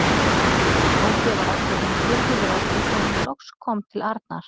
Tóti var allur hinn furðulegasti þegar hann loks kom til Arnar.